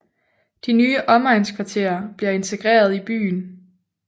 De nye omegnskvarterer bliver integreret i byen